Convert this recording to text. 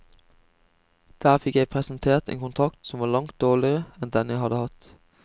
Der fikk jeg presentert en kontrakt som var langt dårligere enn den jeg hadde hatt.